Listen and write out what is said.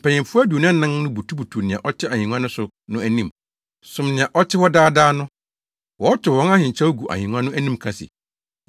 mpanyimfo aduonu anan no butubutuw nea ɔte ahengua no so no anim som nea ɔte hɔ daa daa no. Wɔtow wɔn ahenkyɛw gu ahengua no anim ka se: